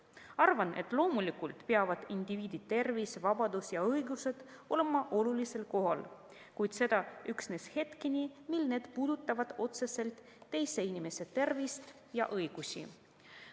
Arvan, et loomulikult peavad indiviidi tervis, vabadus ja õigused olema olulisel kohal, kuid seda üksnes hetkeni, mil need puudutavad otseselt teise inimese tervist ja õigusi.